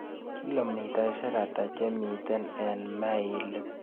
Kilomitaiseik ata chemiten eng' mailit